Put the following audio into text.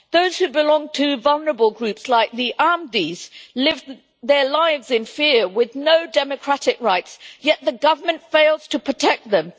Those who belong to vulnerable groups like the Ahmadis live their lives in fear, with no democratic rights, yet the government fails to protect them.